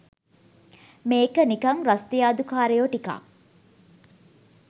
මේක නිකන් රස්තියාදු කාරයෝ ටිකක්